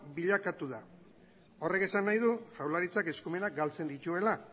bilakatu da horrek esan nahi du jaurlaritzak eskumenak galtzen dituela